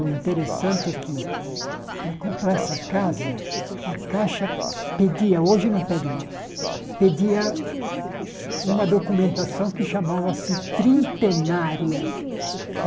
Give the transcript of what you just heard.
O interessante é que, para comprar essa casa, a Caixa pedia, hoje não pede mais, pedia uma documentação que chamava-se trintenária.